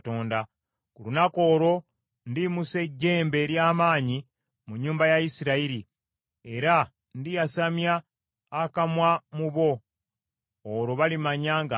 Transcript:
“Ku lunaku olwo ndiyimusa ejjembe ery’amaanyi mu nnyumba ya Isirayiri, era ndiyasamya akamwa ko mu bo. Olwo balimanya nga nze Mukama .”